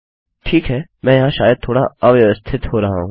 ठीक है मैं यहाँ शायद थोड़ा अव्यवस्थित हो रहा हूँ